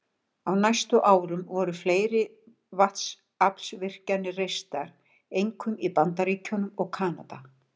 Á næstu árum voru fleiri vatnsaflsvirkjanir reistar, einkum í Bandaríkjunum og Kanada.